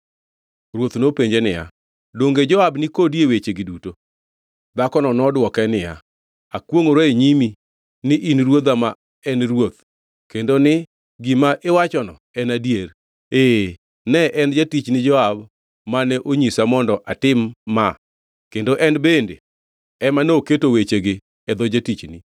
Ruoth nopenje niya, “Donge Joab ni kodi e wechegi duto?” Dhakono nodwoke niya, “Akwongʼora e nyimi ni in ruodha ma en ruoth kendo ni gima iwachono en adier. Ee, ne en jatichni Joab mane onyisa mondo atim ma kendo en bende ema noketo wechegi e dho jatichni.